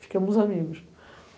Ficamos amigos.